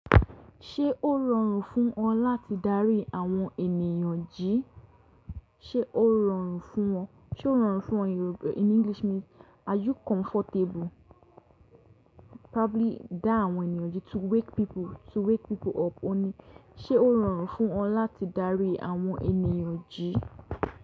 Ṣé ó rọrùn fún ọ láti darí àwọn ènìyàn jí? Ṣé ó rọrùn fún ọ, ṣe ó rọrùn fún ọ, in English means are you comfortable? Probably dá àwọn ènìyàn jí to wake people, to wake people up. O ní, ṣe ó rọrùn fún ọ láti darí àwọn ènìyàn jí?